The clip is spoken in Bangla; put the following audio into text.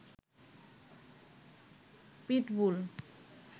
পিটবুল